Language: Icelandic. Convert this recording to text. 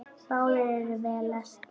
Báðir eru vel lesnir.